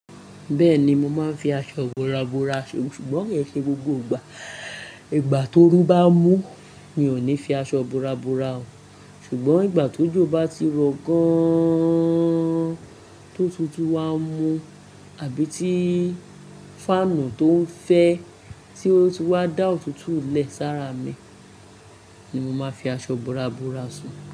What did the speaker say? Bẹ́ẹ̀ni mo máa ń fi aṣọ ìbora bora ṣò, ṣùgbọ́n mio ke gbogbo ìgbà. Ìgbà tó oru bá mú mi ò ní fi aṣọ ìbora bora ò. Ṣùgbọ́n ìgbà tó jò bá ti rọ gan-an-an-an-an tó tutù wá mu, àbí tí fáànù tó ń fẹ́ tí ó ti wá dá òtútù lẹ́ sára mi ni mo máa fi aṣọ ìbora bora sun.